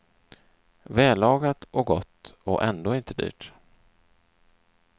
Vällagat och gott och ändå inte dyrt.